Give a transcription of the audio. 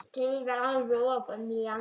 Þreifar alveg ofan í hann.